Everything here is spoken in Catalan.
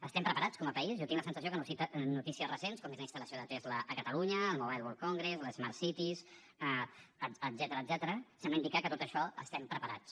estem preparats com a país jo tinc la sensació que notícies recents com és la instal·lació de tesla a catalunya el mobile world congress les smart cities etcètera semblen indicar que en tot això estem preparats